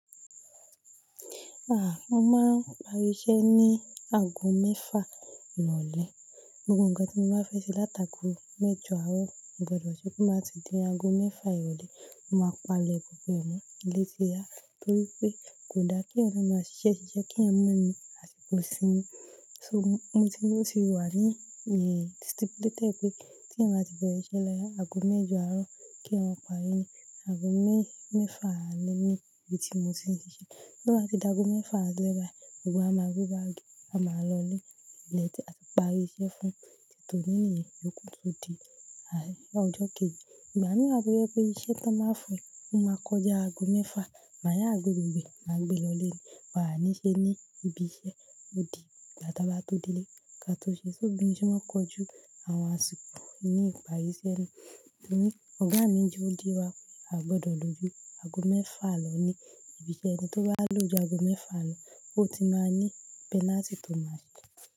À, mo máa ń parí iṣẹ́ ní ago mẹ́fà lrọ́lẹ̀. Gbogbo nǹkan tí mo bá fẹ́ ṣe látaàgo méjọ àárọ̀, mo gbọdọ̀ ṣe kó máa tì di ago mẹ́fà ìrọ̀lẹ́. N máa palẹ̀ gbogbo ẹ̀ ni ilé tí yá, torí pé kódà kí ẹeyan de máa ṣiṣẹ́ ṣiṣẹ́ kí èèyàn máa ní àsìkò isínmi. So mo ti yóò sì wà lẹ́yìn, eeh, stipulated pé tí ẹn màá ti bẹ̀rẹ̀ iṣẹ́ lẹ́yà ago méjọ àárọ̀ kí wọn parí ni ago mẹ́-mẹ́fà alẹ́ ni ibi tí mo ti ń ṣiṣẹ́. Bí wọ́n bá ti dá ago mẹ́fà lẹ́ba, gbogbo wa máa gbé báàgì, a máa lọ lé létí àti parí iṣẹ́ fún tito ní ní ẹ̀yẹ yòókù tó di ai, ọjọ́ kejì. Ẹ bá mi wá tọ yípé iṣẹ́ tí wọ́n báa fún ẹ, ẹ máa kọjá ago mẹ́fà. Màá yá gbé gbogbo ẹ̀, màá gbé lọ lé, wà á níṣe ní ibi iṣẹ́ òdì ibá tó bà tó délé ká tó ṣe. Só bí mo ṣe máa kojú àwọn àsìkò ní ìparí iṣẹ́ ni. Ẹ̀yin ní ọ̀gá mi ju ya wa pé a gbọdọ̀ lójú ago mẹ́fà lọ ní ibi iṣẹ́ ẹni tó bá lójú ago mẹ́fà lọ, ó ti máa ní penalty tó máa ṣí.